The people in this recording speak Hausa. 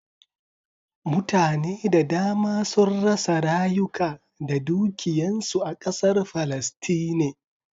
Mutane da dama sun rasa rayuka da dukiyan su a ƙasar Palestine.